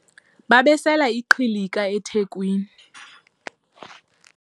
babesela iqhilika ethekweni